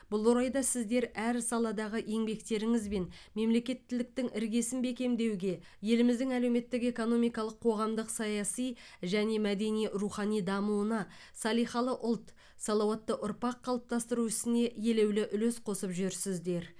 бұл орайда сіздер әр саладағы еңбектеріңізбен мемлекеттіліктің іргесін бекемдеуге еліміздің әлеуметтік экономикалық қоғамдық саяси және мәдени рухани дамуына салиқалы ұлт салауатты ұрпақ қалыптастыру ісіне елеулі үлес қосып жүрсіздер